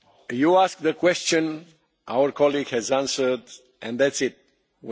You asked a question, our colleague has answered, and that is it.